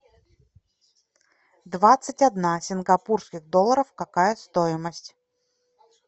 двадцать одна сингапурских долларов какая стоимость